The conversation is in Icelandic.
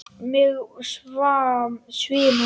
Mig svimar.